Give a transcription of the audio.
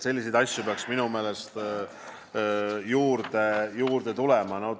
Selliseid asju peaks minu meelest juurde tulema.